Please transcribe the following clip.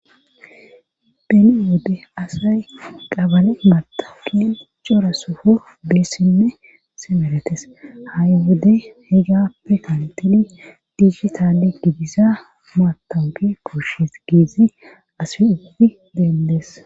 Beni wode asay qabale matakin cora sufo beessinne simeretes ha'i wode hegappe kantili diihitaale gidisa maatange koshes giizi ase ugudi dendees.